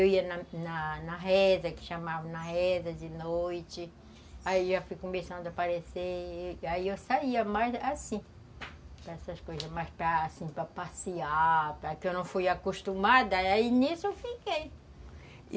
Eu ia na na reza, que chamavam na reza de noite, aí eu já fui começando a aparecer, aí eu saía mais, assim, para essas coisas, mas para assim, para passear, que eu não fui acostumada, aí nisso eu fiquei.